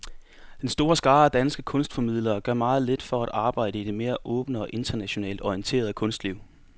Den store skare af danske kunstformidlere gør meget lidt for at arbejde i det mere åbne og internationalt orienterede kunstliv.